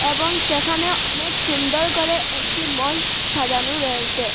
এবং সেখানে অনেক সুন্দর করে একটি মঞ্চ সাজানো রয়েসে।